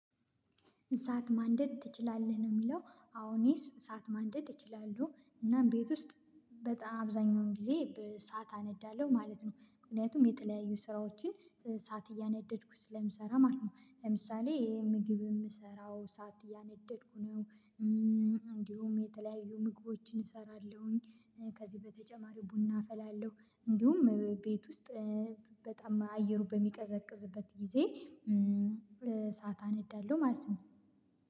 እሳት ማንደድ ትችላለህ? ነው የሚለው። አዎ እኔስ እሳት ማንደድ እችላለሁ። እና ቤት ውስጥ በጣም አብዛኛውን ጊዜ ኢሳት አነዳለሁ ማለት ነው። ምክንያቱም የጥለያዩ ስራዎችን እሳት እያነደድኩ ስለምሰራ ማለት ነው። ለምሳሌ ይሄ ምግብ የምሰራው እሳት እያነደድኩ ነው። እንዲሁም የተለያዩ ምግቦችን እሰራለሁኝ። ከዚህ በተጨማሪው ቡና አፈላለሁ፣ እንዲሁም ቤት ውስጥ በጣም አየሩ በሚቀዘቅዝበት ጊዜ እሳት አነዳለሁ ማለት ነው።